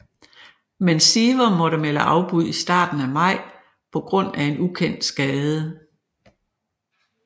Men Siver måtte melde afbud i starten af maj på grund af en ukendt skade